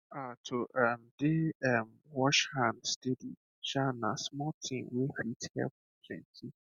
ah to um dey um wash hand steady um na small thing wey fit help plenty